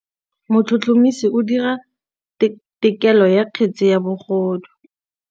Motlhotlhomisi o dira têkolô ya kgetse ya bogodu.